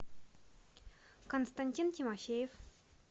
константин тимофеев